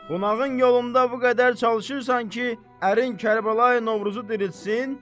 Qonağın yolunda bu qədər çalışırsan ki, ərin Kərbəlayı Novruzu diriltsin.